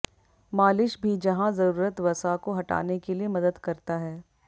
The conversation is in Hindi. मालिश भी जहां जरूरत वसा को हटाने के लिए मदद करता है